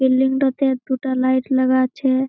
Building -টাতে দুটা light লাগা আছে।